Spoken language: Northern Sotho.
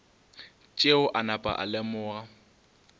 tšeo a napa a lemoga